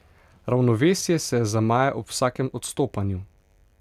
Ravnovesje se zamaje ob vsakem odstopanju.